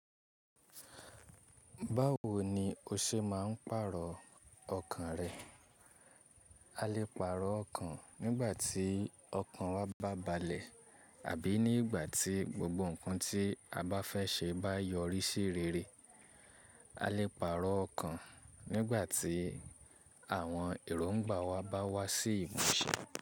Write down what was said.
Báwo ni o ṣe máa ń pàrọ̀ ọkàn rẹ? A lè pàrọ̀ ọkàn nígbà tí ọkàn wa bá balẹ̀ àbí nígbà tí gbogbo ǹkan tí a bá fẹ́ ṣe bá yọrí sí rere. A lè pàrọ̀ ọkàn nígbà tí àwọn èrò ńgbà wa bá wá sí ìmúṣẹ.